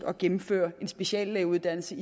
at gennemføre en speciallægeuddannelse